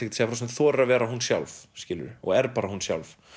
þorir að vera hún sjálf og er bara hún sjálf